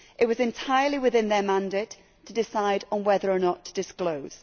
It was entirely within their mandate to decide on whether or not to disclose.